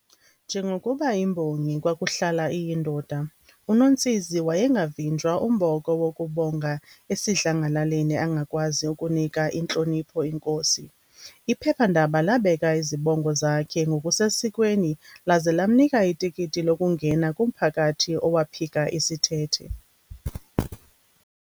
Njengokuba imbongi kwakuhlala iyindoda, UNontsizi wayengavinjwa umboko wokubonga esidlangalaleni angakwazi ukunika intlonipho inkosi. Iphephandaba labeka izibongo zakhe ngokusesikweni laze lamnika itikiti lokungena kumphakathi owaphika isithethe.